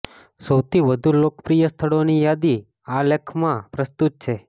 સૌથી વધુ લોકપ્રિય સ્થળોની યાદી આ લેખમાં પ્રસ્તુત છે